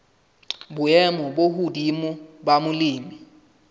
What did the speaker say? boemo bo hodimo la molemi